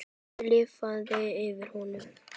Það lifnaði yfir honum.